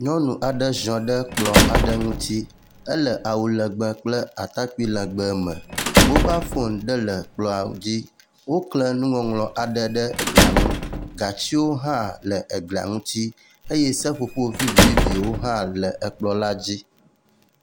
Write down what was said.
Nyɔnu aɖe ziɔ ɖe kplɔ aɖe ŋuti. Ele awu legbe kple atakpi legbe me. Mobal foni ɖe le kplɔ dzi. Wokle nuŋɔŋlɔ aɖe ɖe eglia ŋu, gatsiwo hã le egli ŋuti eye seƒoƒo vivi viviwo hã le ekplɔ la dzi.